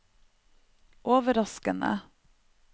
overraskende